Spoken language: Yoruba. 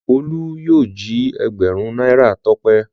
Olú yóò jí ẹgbẹ̀rún náírà Tọ́pẹ́.